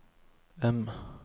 M